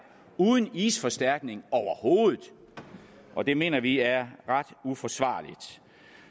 uden isforstærkning overhovedet og det mener vi er ret uforsvarligt